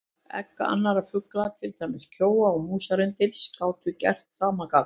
Egg annarra fugla, til dæmis kjóa og músarrindils, gátu gert sama gagn.